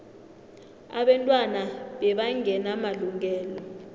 abantwana bebangena malungelo